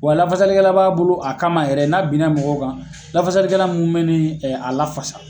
Wa lafasalikɛla b'a bolo a kama yɛrɛ n'a binna mɔgɔw kan lafasalikɛla minnu bɛ ni a lafasa.